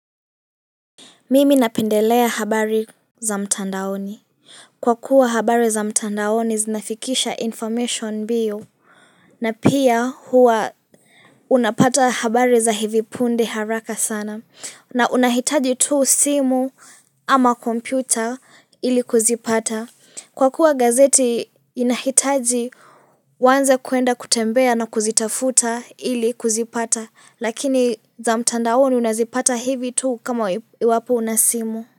Mimi napendelea habari za mtandaoni. Kwa kuwa habari za mtandaoni zinafikisha information mbio. Na pia huwa unapata habari za hivi punde haraka sana. Na unahitaji tu simu ama kompyuta ili kuzipata. Kwa kuwa gazeti inahitaji uwanze kuenda kutembea na kuzitafuta ili kuzipata. Lakini za mtandaoni unazipata hivi tu kama iwapo unasimu.